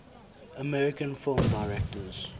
american film directors